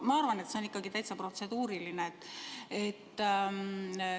Ma arvan, et see on ikkagi täitsa protseduuriline.